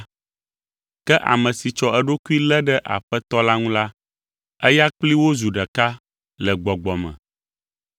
Ke ame si tsɔ eɖokui lé ɖe Aƒetɔ la ŋu la, eya kplii wozu ɖeka le gbɔgbɔ me.